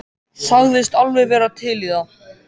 Sagðist alveg vera til í það.